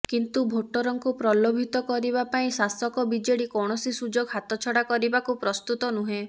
କିନ୍ତୁ ଭୋଟରଙ୍କୁ ପ୍ରଲୋଭିତ କରିବା ପାଇଁ ଶାସକ ବିଜେଡି କୌଣସି ସୁଯୋଗ ହାତଛଡ଼ା କରିବାକୁ ପ୍ରସ୍ତୁତ ନୁହେଁ